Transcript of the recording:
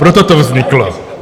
Proto to vzniklo.